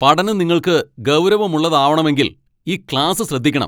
പഠനം നിങ്ങൾക്ക് ഗൗരവമുള്ളതാവണമെങ്കിൽ ഈ ക്ലാസ്സ് ശ്രദ്ധിക്കണം.